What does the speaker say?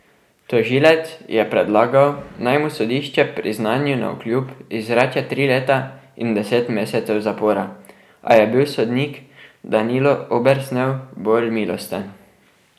Tožilec je predlagal, naj mu sodišče priznanju navkljub izreče tri leta in deset mesecev zapora, a je bil sodnik Danilo Obersnel bolj milosten.